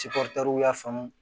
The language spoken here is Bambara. y'a faamu